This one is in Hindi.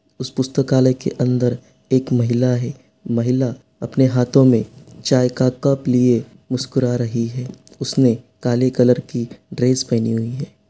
उस पुस्तकाल्य के अंदर एक महिला है| महिला अपने हाथों में चाय का कप लिए मुस्कुरा रही है| उसने काले कलर की ड्रेस पहने हुई है।